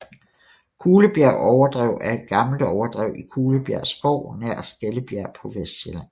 Kulebjerg Overdrev er et gammelt overdrev i Kulebjerg Skov nær Skellebjerg på Vestsjælland